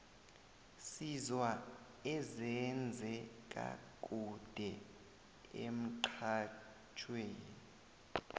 sizwa ezenze ka kude emxhajhewi